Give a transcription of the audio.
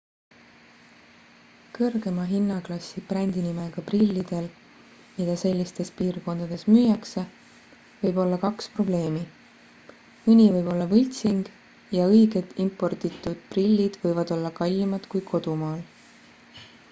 kõrgema hinnaklassi brändinimega prillidel mida sellistes piirkondades müüakse võib olla kaks probleemi mõni võib olla võltsing ja õiged importitud prillid võivad olla kallimad kui kodumaal